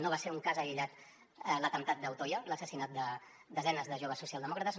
no va ser un cas aïllat l’atemptat d’utoya l’assassinat de desenes de joves socialdemòcrates